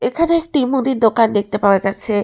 এখানে একটি মুদির দোকান দেখতে পাওয়া যাচ্ছে।